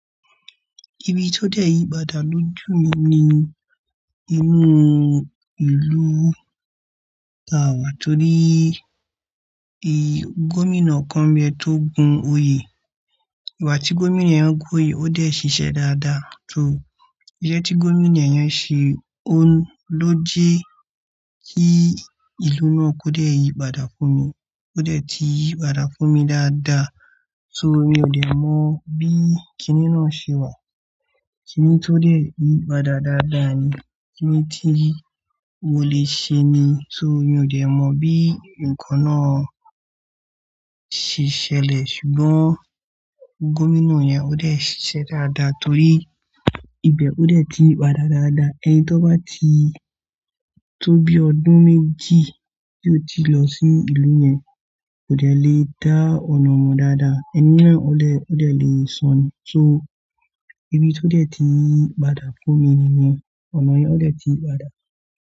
Ibi tó dẹ̀ yìí padà lójú mi ni inú ìlú tàwá torí i gómìnà kan ń bẹ tó gun oyè. Ìgbà tí gómìnà yẹn gún oyè ó dẹ̀ ṣiṣẹ́ dáadáa tó iṣẹ́ tí gómìnà yẹn ṣe ló jẹ́ kí ìlú náà kó dẹ̀ yìí padà fún mi. Kó dẹ̀ ti yìí padà fún mi dáadáa tó mo ò dẹ̀ mọ bí kiní náà ṣe wà. Kiní tó dẹ̀ yìí padà dáadáa ni, kiní tí mo lè ṣe ni to mi ò dẹ̀ mọ bí ǹkan náà ṣe ṣẹlẹ̀ ṣùgbọ́n gómìnà yẹn ó dẹ̀ ṣiṣẹ́ dáadáa torí ibẹ̀ ó dẹ̀ ti ń yí padà dáadáa. Ẹni tó bá ti tó bí ọdún méjì tí ó ti lọ sí ìlú yẹn kò dẹ̀ le dá ọ̀nà mọ dáadáa, ẹni náà ó lè, ó dẹ̀ lè sọnù. So ibi tó dẹ̀ ti ń padà fún mi ni yẹn, ọ̀nà yẹn ó dẹ̀ ti ń padà.